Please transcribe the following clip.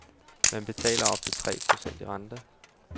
Man betaler op til tre procent i rente.